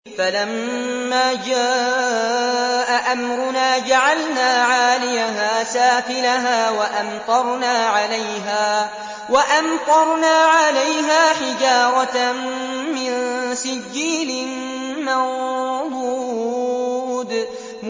فَلَمَّا جَاءَ أَمْرُنَا جَعَلْنَا عَالِيَهَا سَافِلَهَا وَأَمْطَرْنَا عَلَيْهَا حِجَارَةً مِّن سِجِّيلٍ مَّنضُودٍ